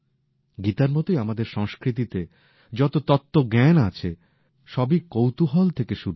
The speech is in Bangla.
গীতার মতোই আমাদের সংস্কৃতিতে যত তত্ত্বজ্ঞান আছে সবই কৌতুহল থেকে শুরু হয়েছে